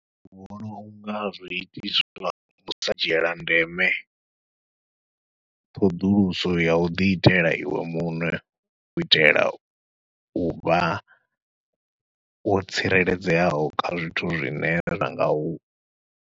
Ndi vhona unga zwi itiswa nga u sa dzhiela ndeme, ṱhoḓuluso yau ḓi itela iwe muṋe u itela uvha wo tsireledzeaho kha zwithu zwine zwa ngau.